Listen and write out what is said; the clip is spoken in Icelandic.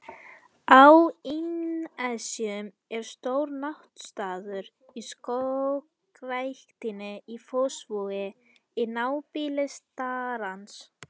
Á Innnesjum er stór náttstaður í Skógræktinni í Fossvogi, í nábýli starans.